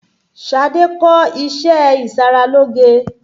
Ṣadé kọ́ iṣé ìṣaralóge.